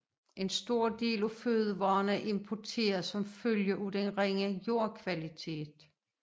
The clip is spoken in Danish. En stor del af fødevarerne er importeret som følge af den ringe jordkvalitet